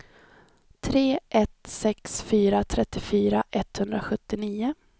tre ett sex fyra trettiofyra etthundrasjuttionio